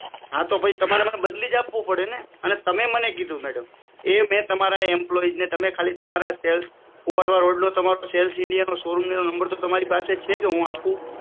હા તો પછી તમારે મને બદલી જ આપવું પડે ને અને તમે મને કીધું મેડમ કુવાડવા રોડ વાળા શોરૂમ નો નંબર તો તમારી પાસે છે કે હુ આપુ